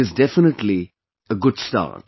It is definitely a good start